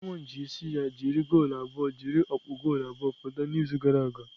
Simon ji isi ya jiri goolu abụọ jiri ọkpụ goolu abụọ pụta n'izu gara aga.